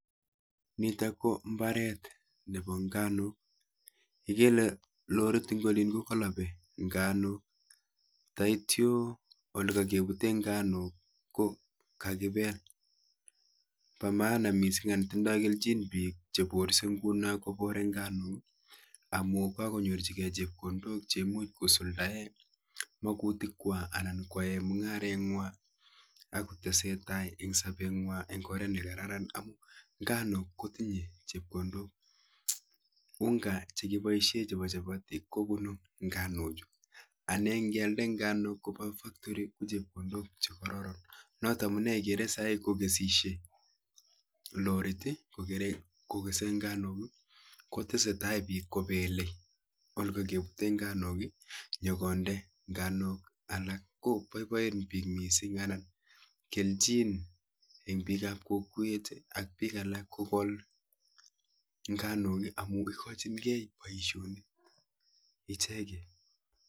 Nitok kombaret. nepo. nganuk. akere. loriit. nemitei. yundok. koipee. nganuuk nganuuk. kotinye chepkondok (UNGA) chekipaisheee kechopee amitwogik...agere piik chepele. mbaret sigo nyumnyum. kolseet ap.nganuk